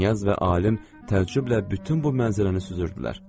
Knyaz və alim təəccüblə bütün bu mənzərəni süzürdülər.